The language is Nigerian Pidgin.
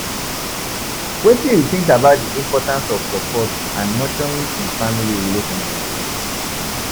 Wetin you think about di importance of support and nurturing in family relationships?